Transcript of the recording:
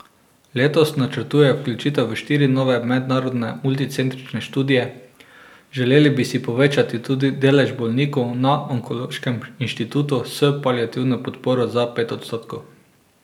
Letos načrtujejo vključitev v štiri nove mednarodne multicentrične študije, želeli bi si povečati tudi delež bolnikov na onkološkem inštitut s paliativno podporo za pet odstotkov.